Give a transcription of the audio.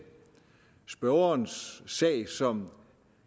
spørgerens sag som